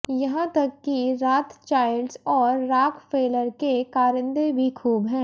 यहाँ तक कि राथचाइल्डस और राकफेलर के कारिंदे भी खूब हैं